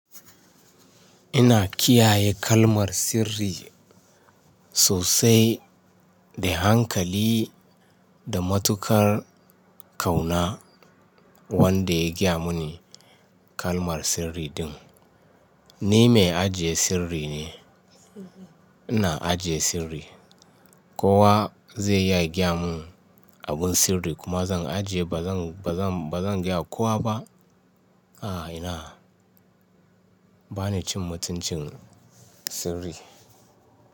Ina kiyaye kalmar sirri sosai da hankali da matukar kauna wanda ya gaya mini kalmar sirri din. Ni mai ajiye sirri ne. Ina ajiye sirri. Kowa zai iya gaya mun abun sirri kuma zan ajiye ba zan, ba zan, ba zan gaya kowa ba. A'a ina, bani cin mutuncin sirri.